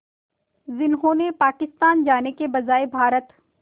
जिन्होंने पाकिस्तान जाने के बजाय भारत